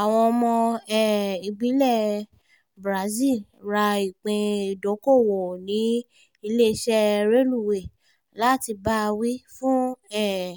àwọn ọmọ um ìbílẹ̀ brazil ra ìpín ìdókoòwò ní iléeṣẹ́ rélùwé láti bá a wí fún um